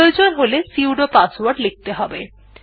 প্রয়োজন হলে sudo password লিখতে হবে